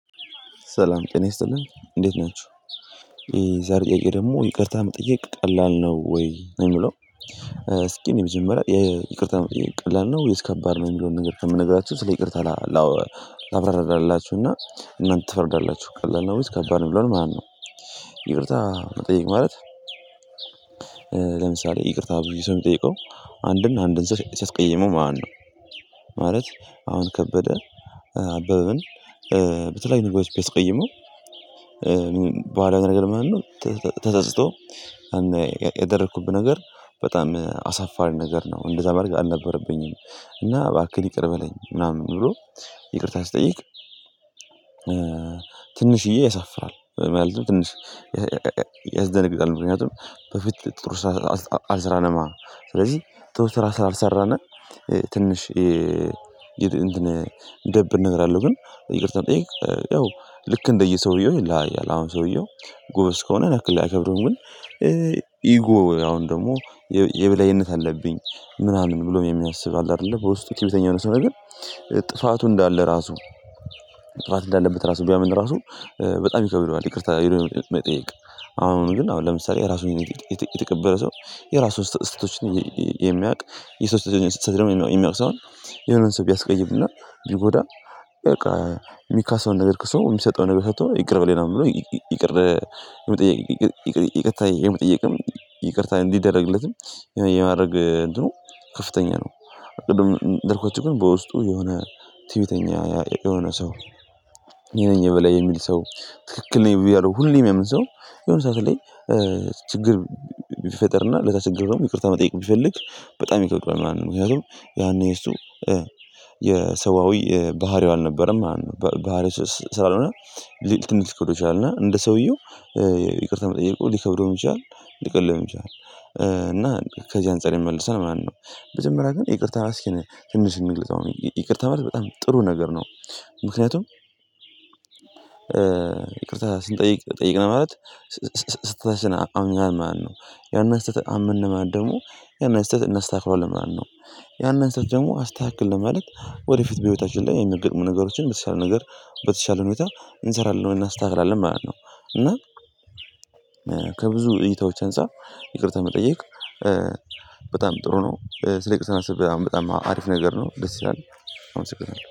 ሰላም ጤና ይስጥልን እንዴት ናችሁ የዛሬ ጥያቄ ደግሞ ይቅርታ መጠየቅ ቀላል ነው ወይ ነው ሚለው? እስኪ እኔ መጀመሪያ ይቅርታ መጠየቅ ቀላል ነው ወይስ ከባድ ነው የሚለውን ነገር ከምነግራችሁ ስለ ይቅርታ ላብራራላችሁና እናንተ ትፈርዳላችሁ ቀላል ነው ውስጥ ከባድ ነው ሚለውን ማለት ነው። ይቅርታ መጠየቅ ማለት ይቅርታ ብዬ ሰው የሚጠይቀው አንድን አንድን ስትቀይመው ማለት አሁን ከበደ አበበን በተለይ ነገሮች ቢያስቀይመው በኋላ ነገር ማለት ነው። ተጸጽቶ ያደረኩብህ ነገር በጣም አሳፋሪ ነገር ነው እንደዛ ማድረግ አልነበረብኝም እና እባክህ ይቅር በለኝ ምናምን ብሎ ይቅርታ ሲጠይቅ ትንሽዬ ያሳፍራል ማለት ነው። ትንሽ ምክንያቱም በፊት ጥሩ ስራ አልስራነማ ስለዚህ ጥሩ ስራ ስላልሰራነ ትንሽ ሚደብር ነገር አለው። ግን ይቅርታ ጠይቅ ያው ልክ እንደየሰውየው ይላል አሁን ሰውየው ጎበዝ ከሆነ ያን ያክል አይከብደው ግን። ኢጎ አሁን ደግሞ የበላይነት አለብኝ ምናምን ብሎ የሚያስብ አለ አይደለ በውስጡ ትዕቢተኛ ነው ሰው ነገር ጥፋቱ እንዳለ ራሱ ጥፋት እንዳለበት ራሱ ቢያምን ራሱ በጣም ይከብደዋል። ይቅርታ ሄዶ መጠየቅ አሁን ግን አሁን ለምሳሌ የራሱን የተቀበለ ሰው የራሱን ስተቶች የሚያውቅ የሰው ስህተት የሚያውቅ ሰው የሆነን ሰው ቢያስቀይም እና ቢጎዳ በቃ የሚካስውን ነገር ክሰው የሚሰጠው ነገር ሰጥቶ ይቅር በለኝ ነው የሚለው ይቅር። ይቅርታ የመጠየቅም ይቅርታ እንዲደረግለትም የማድረግ እንትኑ ከፍተኛ ነው። ቅድም እንደነገርኳችሁ ግን በውስጡ የሆነ ትዕቢተኛ የሆነ ሰው እኔ ነኝ የበላይ የሚል ሰው ትክክል ነኝ እያለ ሁሌም የሚያምን ሰው የሆነ ሰዓት ላይ ችግር ቢፈጠርና ለተቸገረው ደግሞ ይቅርታ መጠየቅ ቢፈልግ በጣም ይከብደዋል ማለት ነው። ምክንያቱም ያኔ የሰዋዊ ባህሪው አልነበረም ማለት ነው ባህሪው ስላልሆነ ትንሽ ሊከብደው ይችላል እና እንደ ሰውየው ይቅርታ መጠየቁ ሊከብደው ይችላል ሊቀለልም ይችላል እና ከዚህ አንፃር ይመለሳል ምናምን ነው። መጀመሪያ ግን ይቅርታ ማስኪነ ትንሽ እንግለፀው ይቅርታ ማለት በጣም ጥሩ ነገር ነው። ምክንያቱም ይቅርታ ስንጠይቅ ጠይቅነ ማለት ስተታችን አምነናል ማለት ነው ያንን ስተት አመነ ማለት ደግሞ ያንን ስህተት እናስተካክለዋለን ማለት ነው። ያንን ስህተት ደግሞ አስተካከልነው ማለት ወደፊት በህይወታችን ላይ የሚገጥሙ ነገሮችን በተሻለ ነገር በተሻለ ሁኔታ እንሰራለን እናስተካክላለን ማለት ነው። እና ከብዙ እይታዎች አንፃር ይቅርታ መጠየቅ በጣም ጥሩ ነው ስለይቅርታ ማሰብ አሁን በጣም አሪፍ ነገር ነው ደስ ይላል። አምሰገናለሁ